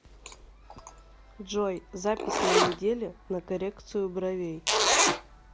джой запись на неделе на коррекцию бровей